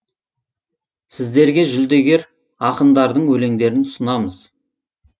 сіздерге жүлдегер ақындардың өлеңдерін ұсынамыз